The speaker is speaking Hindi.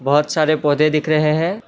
बहोत सारे पौधे दिख रहे हैं।